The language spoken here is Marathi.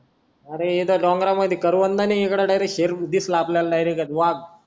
अरे येते डोंगरमध्ये करवंद आणि शेर दिसला इथे डायरेक्ट वाघ